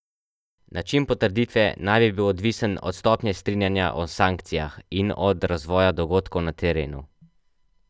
Način potrditve naj bi bil odvisen od stopnje strinjanja o sankcijah in od razvoja dogodkov na terenu.